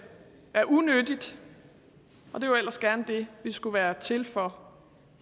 er unyttigt og det er jo ellers gerne det vi skulle være til for